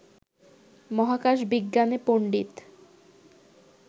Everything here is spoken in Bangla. মহাকাশ-বিজ্ঞানে পণ্ডিত